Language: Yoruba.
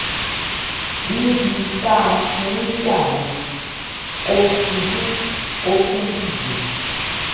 níbi tá a ti ń jà yẹn ò ṣubú ó tún dìde